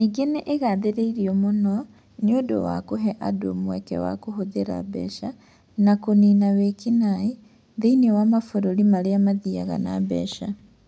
Nĩ ĩgaathĩrĩirio mũno nĩ ũndũ wa kũhe andũ mweke wa kũhũthĩra mbeca na kũniina wĩki-naĩ thĩinĩ wa mabũrũri marĩa mathiaga na mbeca.